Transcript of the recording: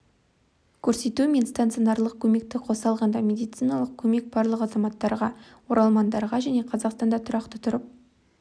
көрсету мен стационарлық көмекті қоса алғанда медициналық көмек барлық азаматтарға оралмандарға және қазақстанда тұрақты тұрып